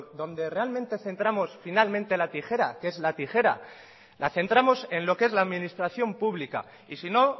donde realmente centramos finalmente la tijera que es la tijera la centramos en lo que es la administración pública y sino